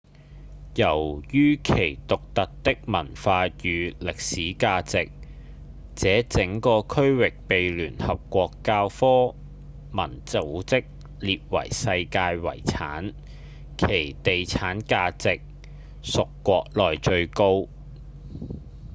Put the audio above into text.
由於其獨特的文化與歷史價值這整個區域被聯合國教科文組織列為世界遺產其地產價值屬國內最高